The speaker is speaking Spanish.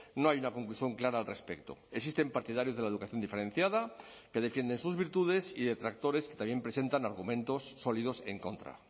no hay una conclusión clara al respecto existen partidarios de la educación diferenciada que defienden sus virtudes y detractores que también presentan argumentos sólidos en contra